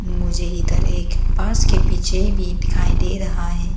मुझे इधर एक बस के पीछे भी दिखाई दे रहा है।